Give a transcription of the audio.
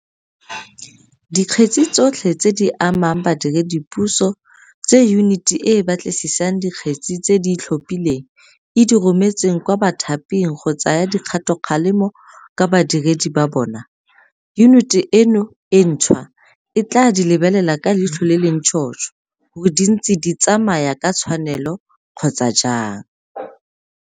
Dikgetse tsotlhe tse di amang badiredipuso tse Yuniti e e Batlisisang Dikgetse tse di Itlhophileng e di rometseng kwa bathaping go tsaya dikgatokgalemo ka badiredi ba bona, yuniti eno e ntšhwa e tla di lebelela ka leitlho le le ntšhotšho gore di ntse di tsamaya ka tshwanelo kgotsa jang.